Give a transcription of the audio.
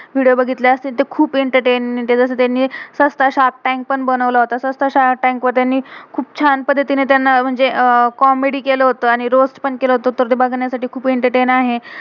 Video video बघितले असतील. तर खुप एंटरटेन entertain आहे. त्यांनी शार्प टाइम पण बनवलं, तसच त्या शार्प टाइम वर त्यांनी खुप छान पद्धतीने त्यांना म्हणजे अह कॉमेडी comedy केलं होतं, आणि रोअस्त पण केलं होतं. तर ते बघण्यासाठी खुप एंटरटेन entertain आहे.